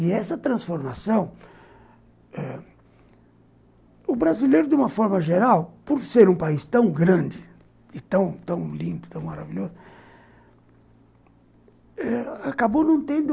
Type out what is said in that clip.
E essa transformação ãh, o brasileiro, de uma forma geral, por ser um país tão grande e tão lindo, tão maravilhoso eh, acabou não tendo